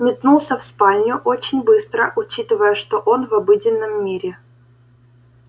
метнулся в спальню очень быстро учитывая что он в обыденном мире